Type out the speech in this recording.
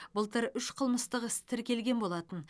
былтыр үш қылмыстық іс тіркелген болатын